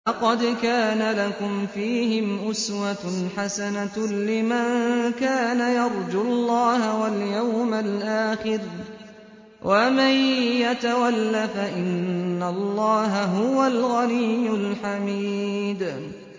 لَقَدْ كَانَ لَكُمْ فِيهِمْ أُسْوَةٌ حَسَنَةٌ لِّمَن كَانَ يَرْجُو اللَّهَ وَالْيَوْمَ الْآخِرَ ۚ وَمَن يَتَوَلَّ فَإِنَّ اللَّهَ هُوَ الْغَنِيُّ الْحَمِيدُ